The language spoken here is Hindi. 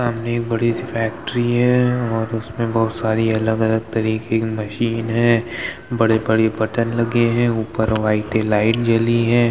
सामने एक बड़ी सी फैक्ट्री है और उसमे बहुत सारी अलग-अलग तरीके की मशीन हैं बड़े-बड़ी बटन लगें है ऊपर वाइटे लाइट जली हैं।